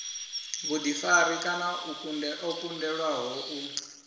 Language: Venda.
vhuḓifari kana o kundelwaho u